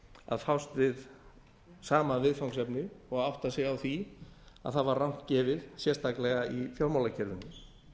að fást við sama viðfangsefnið og átta sig á því að það var rangt gefið sérstaklega í fjármálakerfinu við